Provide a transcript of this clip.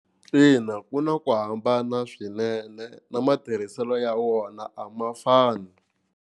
Ina ku na ku hambana swinene na matirhiselo ya wona a ma fani.